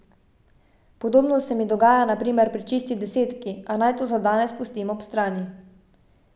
Podobno se mi dogaja na primer pri Čisti desetki, a naj to za danes pustim ob strani.